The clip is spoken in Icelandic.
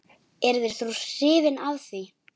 Yrðir þú hrifinn af því?